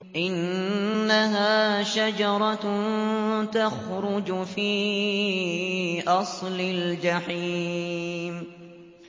إِنَّهَا شَجَرَةٌ تَخْرُجُ فِي أَصْلِ الْجَحِيمِ